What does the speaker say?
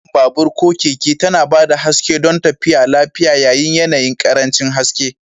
Fitilar kan babur/keke tana ba da haske don tafiya lafiya yayin yanayin ƙarancin haske.